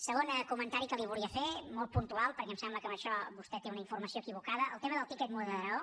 segon comentari que li volia fer molt puntual perquè em sembla que en això vostè té una informació equivocada el tema del tiquet moderador